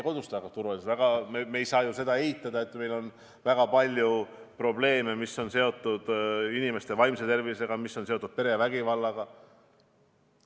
Samas me ei saa ju eitada, et meil on väga palju probleeme, mis on seotud inimeste vaimse tervisega, mis on seotud perevägivallaga.